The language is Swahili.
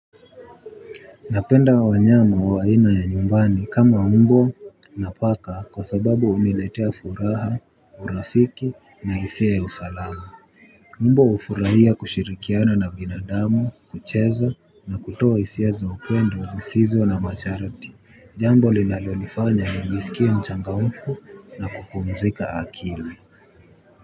Napenda wanyama wa aina ya nyumbani kama mbwa na paka kwa sababu huniletea furaha, urafiki na hisia ya usalama. Mbwa hufurahia kushirikiana na binadamu, kucheza na kutoa hisia za upendo zisizo na masharti, jambo linalonifanya nijisikie mchangamfu na kupumzika akili kwa hivyo.